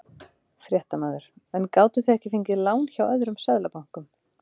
Fréttamaður: En gátuð þið ekki fengið lán hjá öðrum Seðlabönkum?